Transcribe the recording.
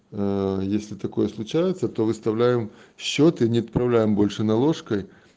если такое случается то выставляем счёт и не отправляем больше наложкой